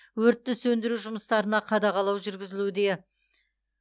өртті сөндіру жұмыстарына қадағалау жүргізілуде